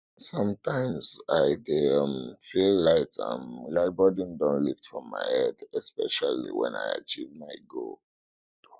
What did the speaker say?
sometimes i dey um feel light um like burden don lift from my head especially when i achieve my goal